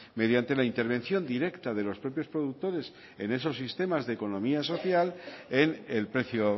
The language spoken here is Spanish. mediante la intervención directa de los propios productores en esos sistemas de economía social en el precio